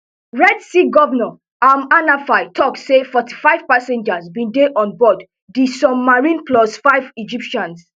red sea govnor amr hanafy tok say forty-five passengers bin dey on board di submarine plus five egyptians